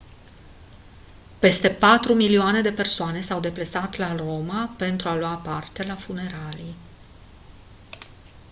peste patru milioane de persoane s-au deplasat la roma pentru a lua parte la funeralii